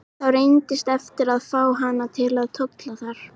Þá reynist erfitt að fá hana til að tolla þar.